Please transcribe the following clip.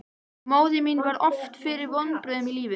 Móðir mín varð oft fyrir vonbrigðum í lífinu.